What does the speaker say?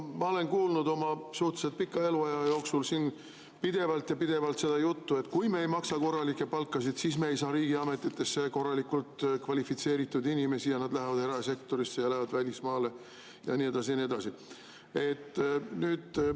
Ma olen kuulnud oma suhteliselt pika eluaja jooksul siin pidevalt ja pidevalt seda juttu, et kui me ei maksa korralikke palkasid, siis me ei saa riigiametitesse korraliku kvalifikatsiooniga inimesi ja nad lähevad erasektorisse ja lähevad välismaale ja nii edasi ja nii edasi.